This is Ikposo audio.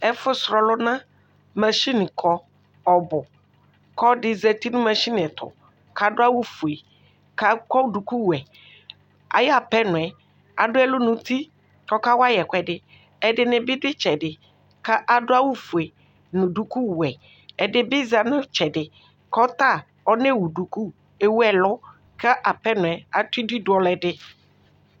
Ɛfʋsʋ ɔlʋna mashini kɔ ɔbʋ kʋ ɔlɔdi zati nʋ lashini ɛtʋ kʋ adʋ awʋfue kʋ akɔ dukuwɛ ayʋ apɛnɔɛ adʋ ɛlʋ nʋ ʋti kʋ ɔkawayi ɛkʋɛdi ɛdini bi dʋ itsɛdi kʋ adʋ awʋfue nʋ dukuwɛ ɛdibi zati nʋ itsɛdi kʋ ɔta ɔnewʋ duku ɛwʋ ɛlʋ kʋ apɛnɔɛ adʋbl idʋ dʋ ɔlʋɛdi